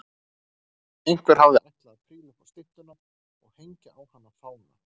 Einhver hafði ætlað að príla upp á styttuna og hengja á hana fána.